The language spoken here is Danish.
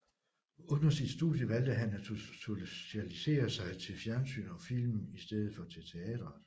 Under sit studie valgte han at specialisere sig til fjernsyn og film i stedet for til teateret